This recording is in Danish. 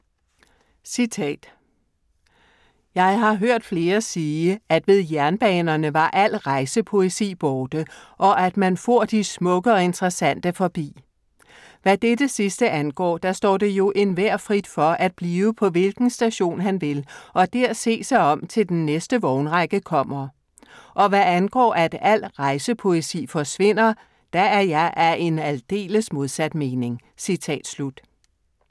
"Jeg har hørt Flere sige, at ved Jernbanerne var al Reise-Poesi borte, og at man foer de Smukke og Interessante forbi; hvad dette sidste angaaer, da staaer det jo Enhver frit for at blive paa hvilken Station han vil, og der see sig om til den næste Vognrække kommer; og hvad angaaer, at al Reise-Poesi forsvinder, da er jeg af en aldeles modsat Mening."